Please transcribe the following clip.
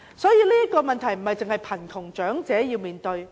因此，這不單是貧窮長者要面對的問題。